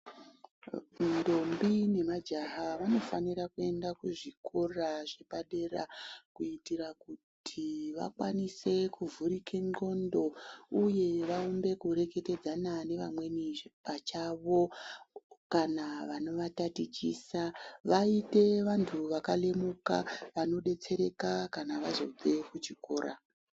Ntombi nemajaha vanofanira kuenda kuzvikora zvepadera kuitira kuti vakwanise kuvhurike ndxondo uye vaambe kureketedzana nevamweni pachavo kana vanovatatichisa vaite vantu vakareruka vanodetsereka kana vazobve kuchikora.